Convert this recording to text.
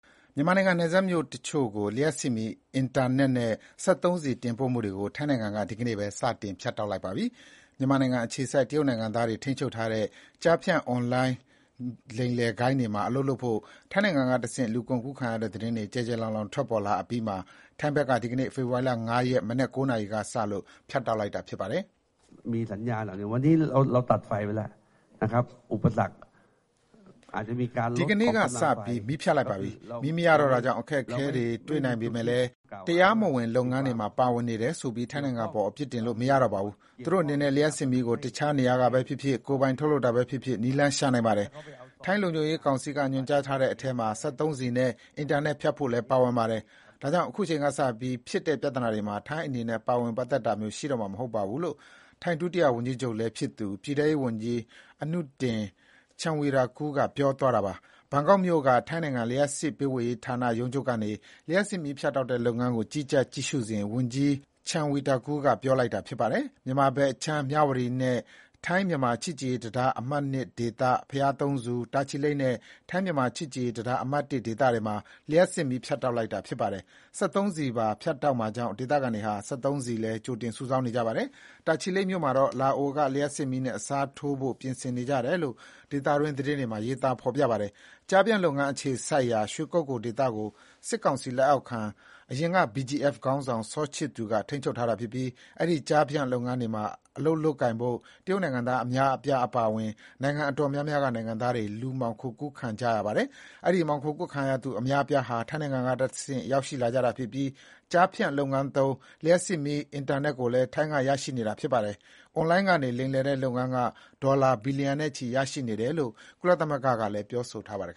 မြန်မာနိုင်ငံ နယ်စပ်မြို့တချို့ကို လျှပ်စစ်မီး၊ အင်တာနက်နဲ့ စက်သုံးဆီတင်ပို့မှုတွေကို ထိုင်းနိုင်ငံက ဒီကနေ့ပဲ ဖြတ်တောက်လိုက်ပါတယ်။ မြန်မာနယ်စပ်အခြေစိုက် တရုတ်နိုင်ငံသားတွေ ထိန်းချုပ်ထားတဲ့ ကျားဖြန့် အွန်လိုင်းလိမ်လည်ဂိုဏ်းတွေမှာ အလုပ်လုပ်ဖို့ ထိုင်းနိုင်ငံကနေတဆင့် လူကုန်ကူးခံရတဲ့ သတင်းတွေ ကျယ်ကျယ်လောင်လောင် ထွက်ပေါ်လာအပြီးမှာ ထိုင်းဘက်က ဒီကနေ့ ဖေဖေါ်ဝါရီ ၅ ရက် မနက် ၉ နာရီကစလို့ ဖြတ်တောက်လိုက်တာပါ။ “ဒီနေ့ကစပြီး မီးဖြတ်လိုက်ပါပြီ။ မီးမရတော့တာကြောင့် အခက်အခဲတွေ့နိုင်ပေမယ့်လည်း တရားမဝင်လုပ်ငန်းတွေမှာပါဝင်နေတယ်ဆိုပြီး ထိုင်းနိုင်ငံအပေါ် အပြစ်တင်လို့မရတော့ပါဘူး။ သူတို့အနေနဲ့ လျှပ်စစ်မီးကို တခြားနေရာကပဲဖြစ်ဖြစ်၊ ကိုယ်ပိုင် ထုတ်လုပ်တာပဲဖြစ်ဖြစ် နည်းလမ်း ရှာနိုင်ပါတယ်။ ထိုင်းလုံခြုံရေးကောင်စီက ညွှန်ကြားထားတဲ့အထဲမှာ စက်သုံးဆီနဲ့ အင်တာနက် ဖြတ်ဖို့လည်း ပါဝင်ပါတယ်။ ဒါကြောင့် ခုချိန်ကစပြီး ဖြစ်တဲ့ပြဿနာတွေမှာ ထိုင်းအနေနဲ့ ပါဝင်ပတ်သတ်တာမျိုး ရှိတော့မှာ မဟုတ်ပါဘူး” - လို့ ထိုင်း ဒုတိယဝန်ကြီးချုပ်လည်းဖြစ်သူ ပြည်ထဲရေးဝန်ကြီး Anutin Charnvirakul က ပြောသွားတာပါ။ ဘန်ကောက်မြို့က ထိုင်းနိုင်ငံ လျှပ်စစ်ပေးဝေရေးဌာနချုပ်ရုံးကနေ လျှပ်စစ်မီးဖြတ်တောက်တဲ့ လုပ်ငန်းကို ကြီးကြပ် ကြည့်ရှုစဉ် ဝန်ကြီး Charnvirakul က ခုလို ပြောလိုက်တာပါ။ မြန်မာဘက်ခြမ်း မြဝတီနဲ့ ထိုင်း-မြန်မာ ချစ်ကြည်ရေးတံတား အမှတ် (၂) ဒေသ၊ ဘုရားသုံးဆူ၊ တာချီလိတ်နဲ့ ထိုင်းမြန်မာ ချစ်ကြည်ရေးတံတား အမှတ် (၁) ဒေသတွေမှာ လျှပ်စစ်မီး ဖြတ်တောက်လိုက်တာ ဖြစ်ပါတယ်။ စက်သုံးဆီပါဖြတ်တောက်မှာကြောင့် ဒေသခံတွေဟာ စက်သုံးဆီလည်း ကြိုတင်စုဆောင်း နေကြပါတယ်။ တာချီလိတ်မြို့မှာတော့ လာအိုနိုင်ငံက လျှပ်စစ်မီးနဲ့အစားထိုးဖို့ ပြင်ဆင်နေကြတယ်လို့ ဒေသတွင်း သတင်းတချို့မှာ ဖေါ်ပြပါတယ်။ ကျားဖြန့်လုပ်ငန်းအခြေစိုက်ရာ ရွှေကုက္ကိုဒေသကို စစ်ကောင်စီ လက်အောက်ခံ အရင်က BGF ခေါင်းဆောင် စောချစ်သူကထိန်းချုပ်ထားတာဖြစ်ပြီး အဲဒီ ကျားဖြန့်လုပ်ငန်းတွေမှာ အလုပ်လုပ်ကိုင်ဖို့ တရုတ်နိုင်ငံသား အများအပြားအပါအဝင် နိုင်ငံအတော်များများက နိုင်ငံသားတွေ လူမှောင်ခို ကုန်ကူးခံ ရတာပါ။ အဲဒီ လူမှောင်ခိုကူးခံရသူ အများအပြားဟာ ထိုင်းနိုင်ငံတဆင့် ရောက်ရှိလာကြတာဖြစ်ပြီး ကျားဖြန့် လုပ်ငန်းသုံး လျှပ်စစ်မီး အင်တာနက်ကိုလည်း ထိုင်းနိုင်ငံကနေ ရရှိတာပါ။ အွန်လိုင်းကနေ လိမ်လည်တဲ့လုပ်ငန်းက ဒေါ်လာ ဘီလျံနဲ့ချီ ရရှိနေတယ်လို့ ကုလသမဂ္ဂကလည်း ပြောဆိုထားပါတယ်